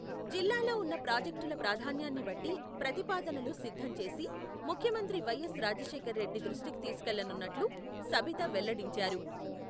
జిల్లాలో ఉన్న ప్రాజెక్టుల ప్రాధాన్యాన్ని బట్టి, ప్రతిపాదనలు సిద్ధం చేసి, ముఖ్యమంత్రి వైఎస్ రాజశేఖరరెడ్డి దృష్టికి తీసుకెళ్లనున్నట్లు, సబిత వెల్లడించారు.